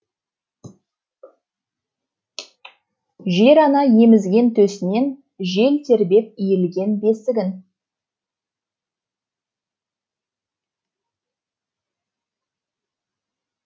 жер ана емізген төсінен жел тербеп иілген бесігін